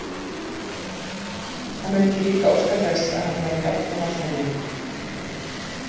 Hann vildi líka óska þess að hann væri jafngamall henni.